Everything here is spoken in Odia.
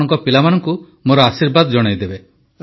ଆପଣଙ୍କ ପିଲାମାନଙ୍କୁ ମୋର ଆଶୀର୍ବାଦ ଜଣାଇବେ